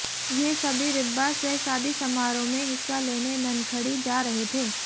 ये सभी रिब्बा से शादी समारोह में हिस्सा लेने ननखड़ी जा रहे थे